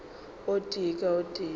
o tee ka o tee